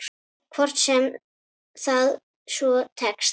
Hvort sem það svo tekst.